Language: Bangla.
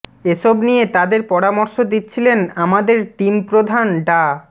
এসব নিয়ে তাদের পরামর্শ দিচ্ছিলেন আমাদের টিম প্রধান ডা